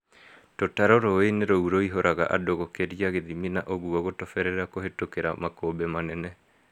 Tũtarũ rũĩ-inĩ rũu rũihũraga andũ gũkĩria gĩthimi na ũguo gũtoberera kũhĩtũkĩra makũmbĩ manene